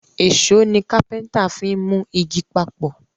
Èṣó ni kápẹ́ńtà fín mú ìgi papọ